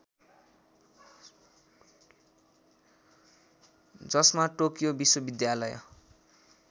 जसमा टोकियो विश्वविद्यालय